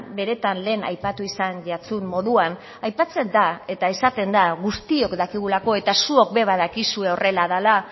benetan lehen aipatu izan jatsun moduan aipatzen da eta esaten da guztiok dakigulako eta zuok be badakizue horrela dela